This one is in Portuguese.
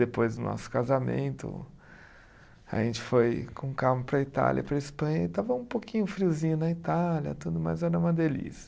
Depois do nosso casamento, a gente foi com calma para a Itália e para a Espanha, e estava um pouquinho friozinho na Itália, tudo mas era uma delícia.